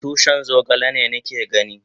Tushin zogale ne ni ke gani?